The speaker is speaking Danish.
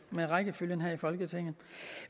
med rækkefølgen her i folketinget